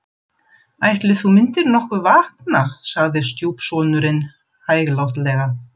Ætli þú myndir nokkuð vakna sagði stjúpsonurinn hæglátlega.